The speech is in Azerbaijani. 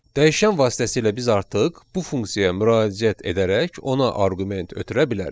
Dəyişən vasitəsilə biz artıq bu funksiyaya müraciət edərək ona arqument ötürə bilərik.